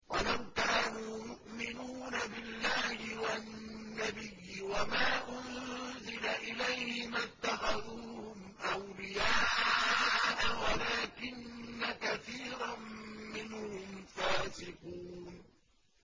وَلَوْ كَانُوا يُؤْمِنُونَ بِاللَّهِ وَالنَّبِيِّ وَمَا أُنزِلَ إِلَيْهِ مَا اتَّخَذُوهُمْ أَوْلِيَاءَ وَلَٰكِنَّ كَثِيرًا مِّنْهُمْ فَاسِقُونَ